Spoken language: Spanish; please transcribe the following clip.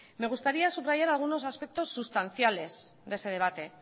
me gustaría subrayar algunos aspectos sustanciales de ese debate